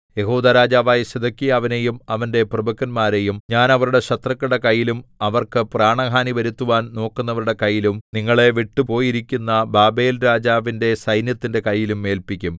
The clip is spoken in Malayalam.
യെഹൂദാ രാജാവായ സിദെക്കീയാവിനെയും അവന്റെ പ്രഭുക്കന്മാരെയും ഞാൻ അവരുടെ ശത്രുക്കളുടെ കൈയിലും അവർക്ക് പ്രാണഹാനി വരുത്തുവാൻ നോക്കുന്നവരുടെ കൈയിലും നിങ്ങളെ വിട്ടുപോയിരിക്കുന്ന ബാബേൽരാജാവിന്റെ സൈന്യത്തിന്റെ കൈയിലും ഏല്പിക്കും